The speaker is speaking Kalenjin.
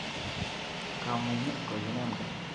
Komunyet kokinam keny